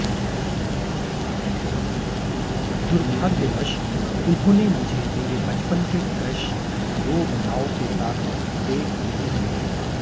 दुर्भाग्यवश उन्होंने मुझे मेरे बचपन के क्रश रोब लॉव के साथ डेट नहीं दिया